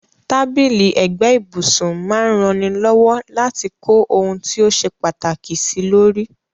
Tábìlì ẹ̀gbẹ́ ibùsun máa n raní lọ́wọ́ láti kó oun ti o se pàtàkì sílórí